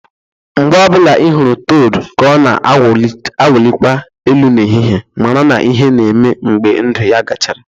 Mgbe ọ bụla ị hụrụ toad ka ọ na-awụlikwa elu n'ehihie, mara na ihe na-eme mgbe ndụ ya gachara